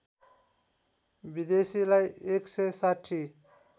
विदेशीलाई १ सय ६०